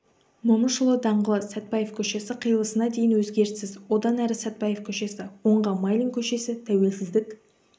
момышұлы даңғылы сәтпаев көшесі қиылысына дейін өзгеріссіз одан әрі сәтпаев көшесі оңға майлин көшесі тәуелсіздік